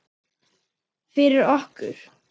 Fyrir okkur.